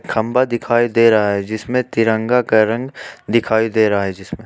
खंभा दिखाई दे रहा है जिसमें तिरंगा का रंग दिखाई दे रहा है जिसमें--